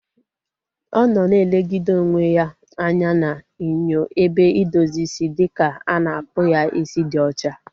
Ọ nọ na elegide onwe ya anya n'inyo ebe idozi isi dịka a na-akpụ ya isi dị ocha